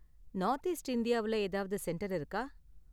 North east இந்தியாவுல ஏதாவது centre இருக்கா?